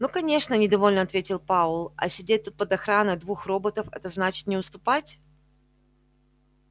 ну конечно недовольно ответил пауэлл а сидеть тут под охраной двух роботов это значит не уступать